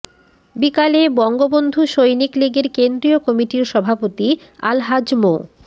বিকালে বঙ্গবন্ধু সৈনিক লীগের কেন্দ্রীয় কমিটির সভাপতি আলহাজ মো